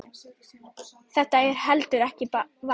Þetta heldur ekki vatni.